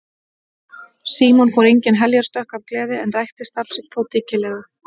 Símon fór engin heljarstökk af gleði en rækti starf sitt þó dyggilega.